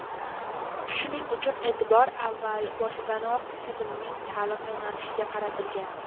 Shuning uchun e’tibor avval boshidanoq tizimning ta’lim yo‘nalishiga qaratilgan.